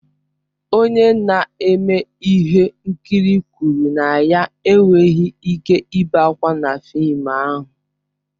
Onye na-eme ihe nkiri kwụrụ na ya enweghị ike ibe ákwà na fịịm ahụ.